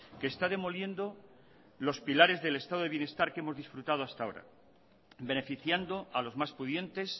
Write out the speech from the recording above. que está demoliendo los pilares del estado de bienestar que hemos disfrutado hasta ahora beneficiando a los más pudientes